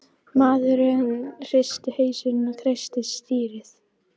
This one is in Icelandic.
Maðurinn hristi hausinn og kreisti stýrið.